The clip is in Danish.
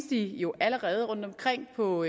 de jo allerede findes rundtomkring på